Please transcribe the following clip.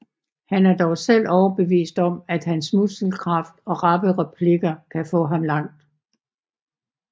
Han er dog selv overbevist om at hans muskelkraft og rappe replikker kan få ham langt